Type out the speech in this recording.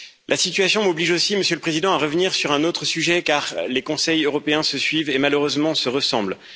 La situation m'oblige aussi, Monsieur le Président, à revenir sur un autre sujet, car les Conseils européens se suivent et malheureusement se ressemblent.